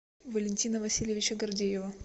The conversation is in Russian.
валентина васильевича гордеева